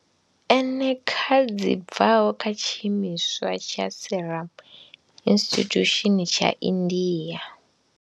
eneca dzi bvaho kha tshiimiswa tsha Serum Institute tsha India.